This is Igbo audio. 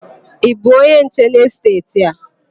Ị bụ onye nche n'esteeti a?